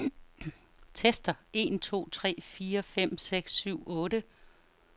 Tester en to tre fire fem seks syv otte.